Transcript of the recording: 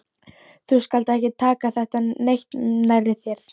Þú skalt ekki taka þetta neitt nærri þér.